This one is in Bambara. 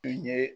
I ye